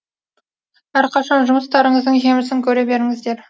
әрқашан жұмыстарыңыздың жемісін көре беріңіздер